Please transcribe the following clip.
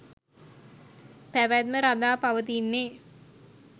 පැවැත්ම රඳා පවතින්නේ